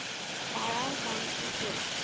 baie dankie ook